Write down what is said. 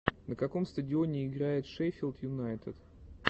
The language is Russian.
на каком стадионе играет шеффилд юнайтед